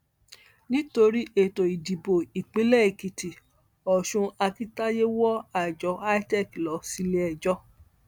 nítorí ètò ìdìbò ìpínlẹ èkìtì ọsùn akintayé wọ àjọ itec lọ síléẹjọ